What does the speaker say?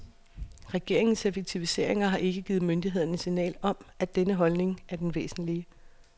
Regeringens effektiviseringer har ikke givet myndighederne signal om, at denne holdning, er den væsentlige.